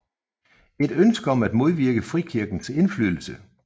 Et ønske om at modvirke frikirkers indflydelse